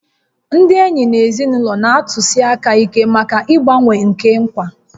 Ndị enyi na ezinụlọ na-atụsi anya ike maka mgbanwe nke nkwa